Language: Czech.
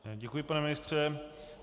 Děkuji, pane ministře.